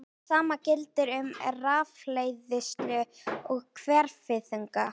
Það sama gildir um rafhleðslu og hverfiþunga.